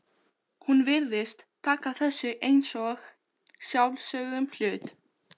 Hún virðist taka þessu einsog sjálfsögðum hlut.